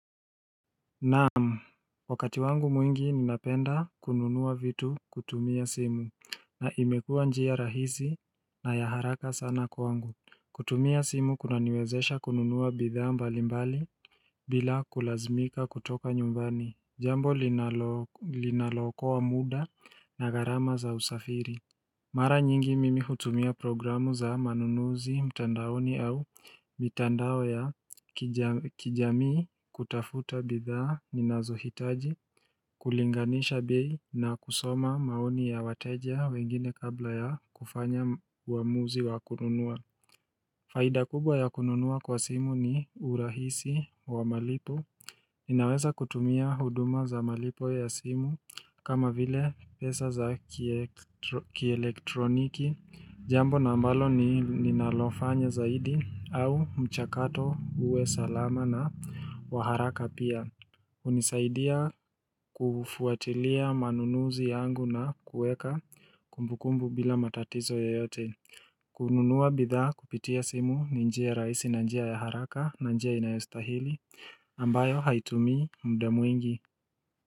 Naam wakati wangu mwingi ninapenda kununuwa vitu kutumia simu na imekua njia rahisi na ya haraka sana kwa wangu kutumia simu kuna niwezesha kununuwa bidhaa mbali mbali bila kulazmika kutoka nyumbani Jambo linalo linaloko wa muda na garama za usafiri Mara nyingi mimi hutumia programu za manunuzi mtandaoni au mitandao ya kijamii kutafuta bidhaa ninazohitaji kulinganisha bei na kusoma maoni ya wateja wengine kabla ya kufanya uwamuzi wa kununua. Faida kubwa ya kununua kwa simu ni urahisi wa malipo inaweza kutumia huduma za malipo ya simu kama vile pesa za kielektroniki Jambo na ambalo ni ninalofanya zaidi au mchakato uwe salama na waharaka pia unisaidia kufuatilia manunuzi yangu na kueka kumbukumbu bila matatizo yoyote kununuwa bidhaa kupitia simu ninjia raisi na njia ya haraka na njia inayostahili ambayo haitumi muda mwingi.